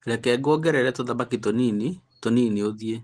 reke ngũongerere tũthamaki tũnini tũnini ũthiĩ